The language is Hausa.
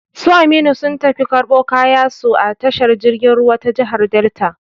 Su Aminu sun tafi karbo kayan su a tashar jirgin ruwa ta jigar Delta